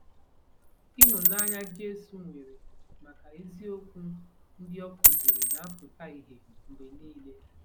Ihụnanya Jesu nwere maka eziokwu ndị ọ kụziri na-apụta ìhè mgbe niile.